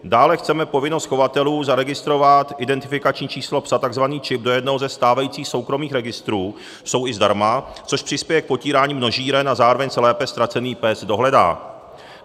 Dále chceme povinnost chovatelů zaregistrovat identifikační číslo psa, tzv. čip, do jednoho ze stávajících soukromých registrů, jsou i zdarma, což přispěje k potírání množíren a zároveň se lépe ztracený pes dohledá.